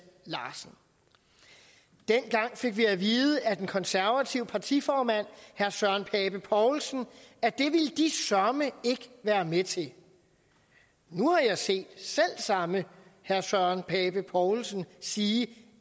larsen dengang fik vi at vide af den konservative partiformand herre søren pape poulsen at det ville de søreme ikke være med til nu har jeg set selv samme herre søren pape poulsen sige